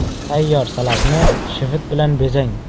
Tayyor salatni shivit bilan bezang.